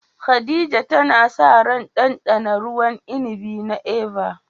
Khadija tana sa ran ɗanɗana ruwan inibi na "Eva"